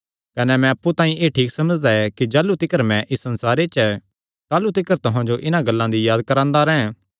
कने मैं अप्पु तांई एह़ ठीक समझदा ऐ कि जाह़लू तिकर मैं इस संसारे च ऐ ताह़लू तिकर तुहां जो इन्हां गल्लां दी याद करांदा रैंह्